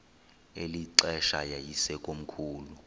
eli xesha yayisekomkhulu